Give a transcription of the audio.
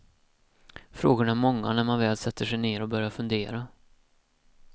Frågorna är många när man väl sätter sig ner och börjar fundera.